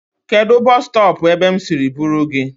Kedụ bọs stọọpụ ebe m siri buru gị?